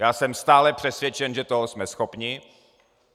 Já jsem stále přesvědčen, že toho jsme schopni.